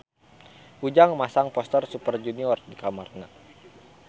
Ujang masang poster Super Junior di kamarna